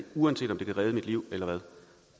uanset om vi kan redde et liv eller ej